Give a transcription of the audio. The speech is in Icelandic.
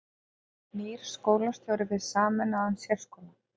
Nýr skólastjóri við sameinaðan sérskóla